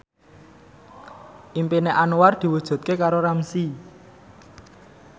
impine Anwar diwujudke karo Ramzy